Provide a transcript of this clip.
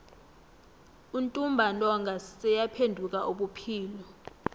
untumbantonga seyaphenduka ubuphilo